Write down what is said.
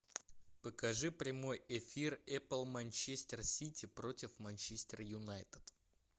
покажи прямой эфир апл манчестер сити против манчестер юнайтед